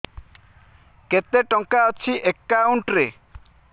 କେତେ ଟଙ୍କା ଅଛି ଏକାଉଣ୍ଟ୍ ରେ